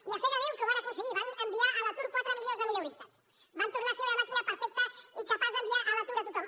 i a fe de déu que ho van aconseguir van enviar a l’atur quatre milions de mileuristes van tornar a ser una màquina perfecta i capaç d’enviar a l’atur a tothom